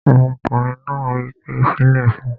Ọmọkùnrin náà wí pé "fílẹ̀ fún un!"